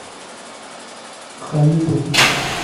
халитова